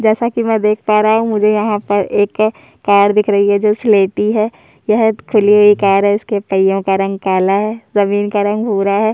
जैसा की मै देख पा रहा हूं मुझे यहाँ पर एक कार दिख रही है जो स्लेटी है यह खुली हुई कार है इसके पहिया पहिओ का रंग काला है जमीन का रंग भूरा है।